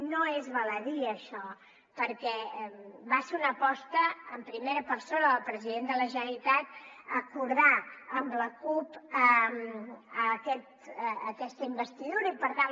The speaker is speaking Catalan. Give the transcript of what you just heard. no és baladí això perquè va ser una aposta en primera persona del president de la generalitat acordar amb la cup aquesta investidura i per tant